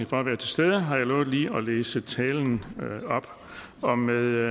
for at være til stede har jeg lovet lige at læse talen op med